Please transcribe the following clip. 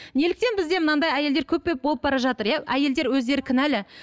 неліктен бізде мынандай әйелдер көкбет болып бара жатыр иә әйелдер өздері қінәлі